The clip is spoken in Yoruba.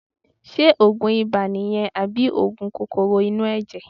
Ṣé òògùn ibà nìyẹn àbí òògùn kòkòrò inú ẹ̀jẹ̀?